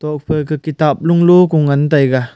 tok phai ka kitab lung lo ko ngan taega.